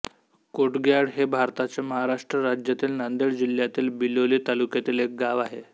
कोटग्याळ हे भारताच्या महाराष्ट्र राज्यातील नांदेड जिल्ह्यातील बिलोली तालुक्यातील एक गाव आहे